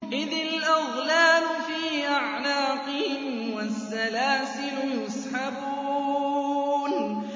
إِذِ الْأَغْلَالُ فِي أَعْنَاقِهِمْ وَالسَّلَاسِلُ يُسْحَبُونَ